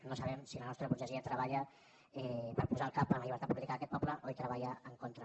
no sabem si la nostra burgesia treballa per posar el cap per la llibertat política d’aquest poble o hi treballa en contra